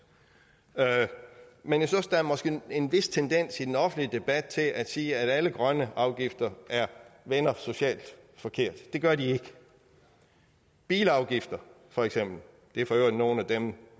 men jeg synes der måske er en vis tendens i den offentlige debat til at sige at alle grønne afgifter vender socialt forkert det gør de ikke bilafgifter for eksempel det er for øvrigt nogle af dem